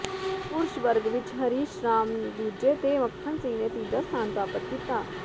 ਪੁਰਸ਼ ਵਰਗ ਵਿਚ ਹਰੀਸ਼ ਰਾਮ ਦੂਜੇ ਤੇ ਮੱਖਣ ਸਿੰਘ ਨੇ ਤੀਜਾ ਸਥਾਨ ਪ੍ਰਾਪਤ ਕੀਤਾ